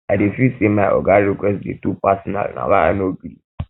i dey feel sey my oga request dey too personal na why i no gree